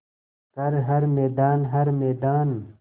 कर हर मैदान हर मैदान